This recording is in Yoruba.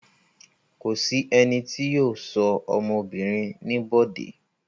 Kò sí ẹni tí yóò sọ ọmọ obìnrin ní Bọ̀dé.